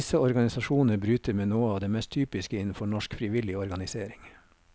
Disse organisasjoner bryter med noe av det mest typiske innenfor norsk frivillig organisering.